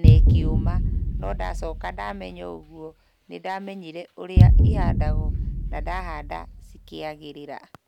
na ĩkĩũma, no ndacoka ndamenya ũguo, nĩndamenyire ũrĩa ihandagwo na ndahanda cikĩagĩrĩra.